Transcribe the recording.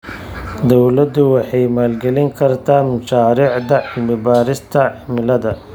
Dawladdu waxay maalgelin kartaa mashaariicda cilmi-baarista cimilada.